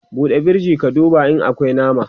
ɓuɗe firij ka duba in akwi nama!